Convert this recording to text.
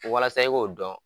Walasa i k'o dɔn